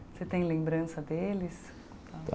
Você tem lembrança deles?